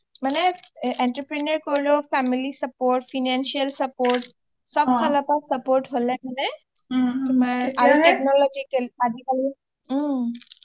মানে entrepreneur কৰিলেও family support financial support সব ফালৰ পৰা support হ'লে মানে তোমাৰ technological আজিকালি ওম